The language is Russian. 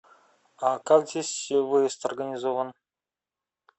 а как здесь выезд организован